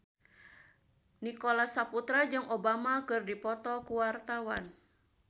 Nicholas Saputra jeung Obama keur dipoto ku wartawan